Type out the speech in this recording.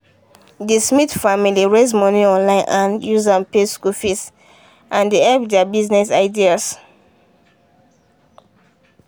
the smith family raise money online and use am pay school fees and dey help their business ideas.